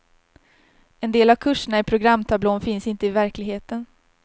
En del av kurserna i programtablån finns inte i verkligheten.